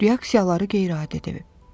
Reaksiyaları qeyri-adi deyil.